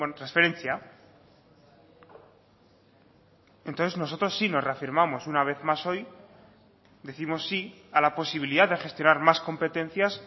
transferentzia entonces nosotros sí nos reafirmamos una vez más hoy décimos sí a la posibilidad de gestionar más competencias